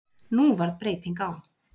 Nú varð breyting á.